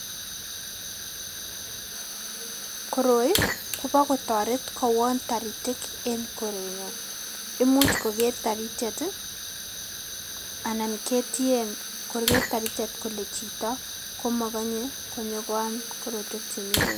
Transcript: Koroi kobo kotoret kowon toritik en korenyon, imuch koker taritiet anan ketien koker taritiet kole chito komokonye konyokoam korotuek chemi ng'weny.